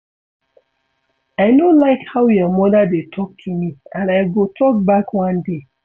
I no like how your mother dey talk to me and I go talk back one day